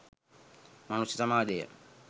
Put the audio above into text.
මනුෂ්‍ය සමාජය